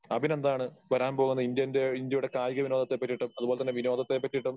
അഭിനന്ദ് ആണ് വരാൻപോകുന്ന ഇന്ത്യന്റെ ഇന്ത്യയുടെ കായിക വിനോദത്തെപ്പറ്റിയിട്ടും അതുപോലെതന്നെ വിനോദത്തെപ്പറ്റിയിട്ടും